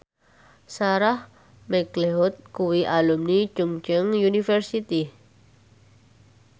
Sarah McLeod kuwi alumni Chungceong University